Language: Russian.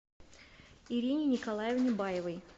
ирине николаевне баевой